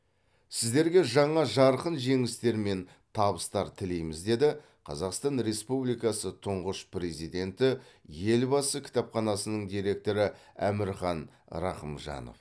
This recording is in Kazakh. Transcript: сіздерге жаңа жарқын жеңістер мен табыстар тілейміз деді қазақстан республикасы тұңғыш президенті елбасы кітапханасының директоры әмірхан рахымжанов